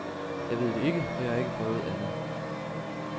Jeg ved det ikke, for jeg har ikke prøvet andet.